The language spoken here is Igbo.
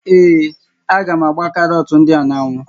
Ee, a gá m ágbá karọt ndị a n'ánwụ́